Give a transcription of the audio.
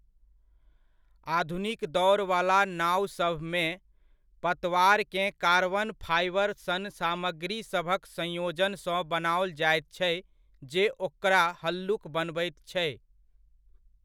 आधुनिक दौड़वला नाओसभमे, पतवारकेँ कार्बन फाइबर सन सामग्रीसभक संयोजनसँ बनाओल जायत छै जे ओकरा हल्लुक बनबैत छै।